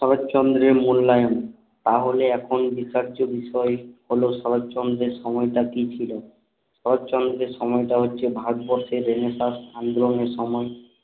শরৎচন্দ্রের মূল্যায়ন তাহলে এখন বিচার্য বিষয় হলো শরৎচন্দ্রের সময়টা কি ছিল শরৎচন্দ্রের সময়টা হচ্ছে ভারতবর্ষের রেনেসাঁস আন্দোলনের সময়ে